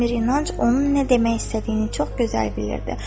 Əmir İnanc onun nə demək istədiyini çox gözəl bilirdi.